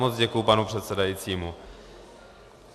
Moc děkuji panu předsedajícímu.